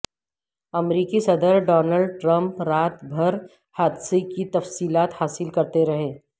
امریکی صدر Donald Trump رات بھر حادثہ کی تفصیلات حاصل کرتے رہے